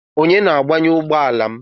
Onye na-agbanye ugbọala m?